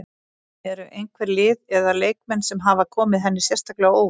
Eru einhver lið eða leikmenn sem hafa komið henni sérstaklega á óvart?